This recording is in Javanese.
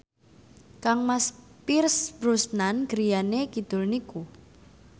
kangmas Pierce Brosnan griyane kidul niku